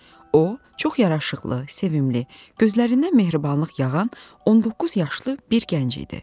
O çox yaraşıqlı, sevimli, gözlərindən mehribanlıq yağan, 19 yaşlı bir gənc idi.